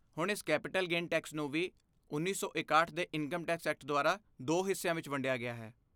ਹੁਣ, ਇਸ capital gain tax ਨੂੰ ਵੀ ਉੱਨੀ ਛੇ ਇਕਾਹਟ ਦੇ ਇਨਕਮ ਟੈਕਸ ਐਕਟ ਦੁਆਰਾ ਦੋ ਹਿੱਸਿਆਂ ਵਿੱਚ ਵੰਡਿਆ ਗਿਆ ਹੈ